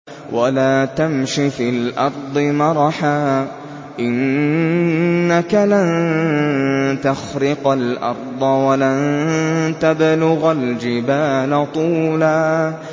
وَلَا تَمْشِ فِي الْأَرْضِ مَرَحًا ۖ إِنَّكَ لَن تَخْرِقَ الْأَرْضَ وَلَن تَبْلُغَ الْجِبَالَ طُولًا